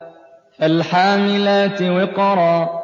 فَالْحَامِلَاتِ وِقْرًا